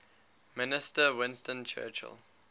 minister winston churchill